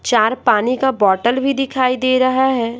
चार पानी का बोतल भी दिखाई दे रहा है।